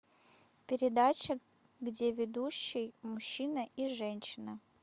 передача где ведущий мужчина и женщина